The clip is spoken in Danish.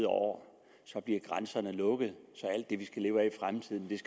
over så bliver grænserne lukket så alt det vi skal leve af i fremtiden